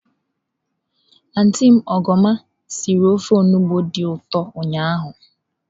Antị m Ogoma sịrị ofe onugbu dị ụtọ ụnyahụ.